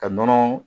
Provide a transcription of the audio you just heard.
Ka nɔnɔ